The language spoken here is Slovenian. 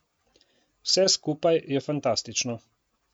Vse skupaj je fantastično.